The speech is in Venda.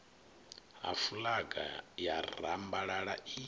ha fulaga ya rambalala i